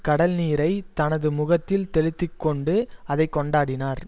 கடல் நீரை தனது முகத்தில் தெளித்துக்கொண்டு அதை கொண்டாடினார்